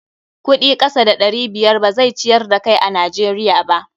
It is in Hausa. Kuɗi kasa da ɗari biyar ba zai ciyar da kai a Najeriya ba.